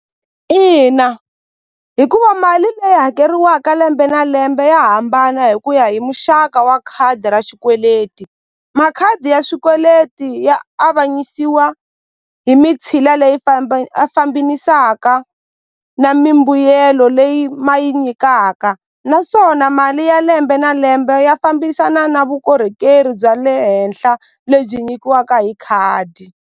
Ina hikuva mali leyi hakeriwaka lembe na lembe ya hambana hi ku ya hi muxaka wa khadi ra xikweleti makhadi ya swikweleti ya avanyisiwa hi mitshila leyi a fambinisaka na mimbuyelo leyi ma yi nyikaka naswona mali ya lembe na lembe ya fambisana na vukorhokeri bya le henhla lebyi nyikiwaka hi khadi.